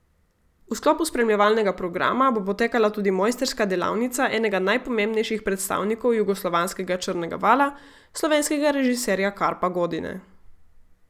V sklopu spremljevalnega programa bo potekala tudi mojstrska delavnica enega najpomembnejših predstavnikov jugoslovanskega črnega vala, slovenskega režiserja Karpa Godine.